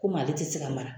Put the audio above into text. Komi ale tɛ se ka mara